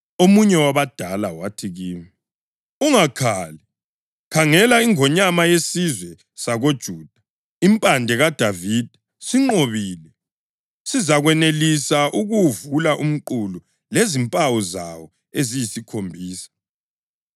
Omunye wabadala wathi kimi, “Ungakhali! Khangela, iNgonyama yesizwe sakoJuda, iMpande kaDavida, sinqobile. Sizakwanelisa ukuwuvula umqulu lezimpawu zawo eziyisikhombisa.”